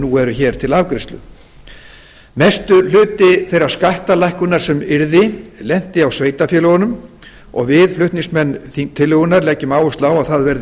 nú eru hér til afgreiðslu mestur hluti þeir skattalækkunar sem yrði lenti á sveitarfélögunum og við flutningsmenn tillögunnar leggjum áherslu á að það verði